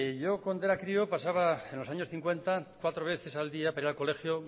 yo cuando era crío pasaba en los años cincuenta cuatro veces al día para ir al colegio